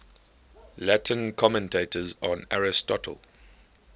latin commentators on aristotle